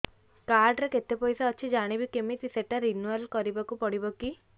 card ରେ କେତେ ପଇସା ଅଛି ଜାଣିବି କିମିତି ସେଟା ରିନୁଆଲ କରିବାକୁ ପଡ଼ିବ କି